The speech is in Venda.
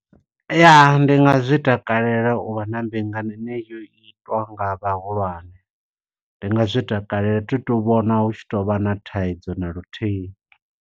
Ya, ndi nga zwi takalela u vha na mbingano ine yo itwa nga vhahulwane. Ndi nga zwi takalela, thi tu vhona hu tshi to vha na thaidzo na luthihi.